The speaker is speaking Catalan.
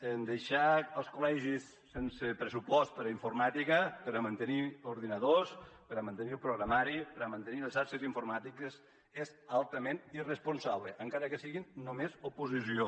en deixar els col·legis sense pressupost per a informàtica per a mantenir ordinadors per a mantenir el programari per a mantenir les xarxes informàtiques és altament irresponsable encara que siguin només oposició